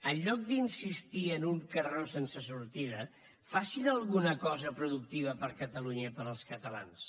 en lloc d’insistir en un carreró sense sortida facin alguna cosa productiva per a catalunya i per als catalans